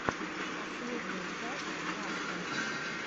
последняя часть вастена